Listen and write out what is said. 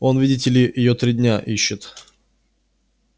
он видите ли её три дня ищут